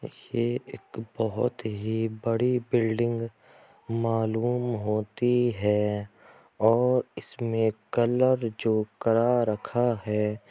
ये एक बहुत ही बड़ी बिल्डिंग मालूम होती है और इसमें कलर जो करा रखा है।